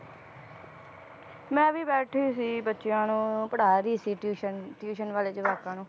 ਮੈਂ ਵੀ ਬੈਠੀ ਸੀ, ਬੱਚਿਆਂ ਨੂੰ ਪੜ੍ਹਾ ਰਹੀ ਸੀ tuition tuition ਵਾਲੇ ਜਵਾਕਾਂ ਨੂੰ